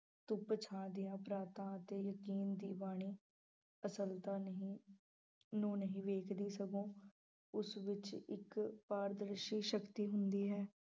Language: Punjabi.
ਧੁੱਪ ਛਾਂ ਦੀਆਂ ਅਤੇ ਦੀ ਬਾਣੀ ਅਸਲਤਾ ਨਹੀਂ ਨੂੰ ਨਹੀਂ ਵੇਖਦੀ ਸਗੋਂ ਉਸ ਵਿੱਚ ਇੱਕ ਪਾਰਦਰਸੀ ਸ਼ਕਤੀ ਹੁੰਦੀ ਹੈ।